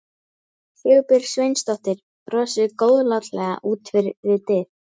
Sigurbjörg Sveinsdóttir brosir góðlátlega út við dyr.